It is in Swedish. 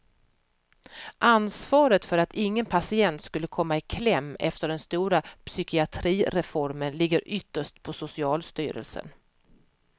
Ansvaret för att ingen patient skulle komma i kläm efter den stora psykiatrireformen ligger ytterst på socialstyrelsen.